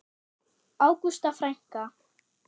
Ágústa frænka.